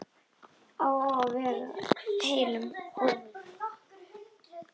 Að vera heillum horfin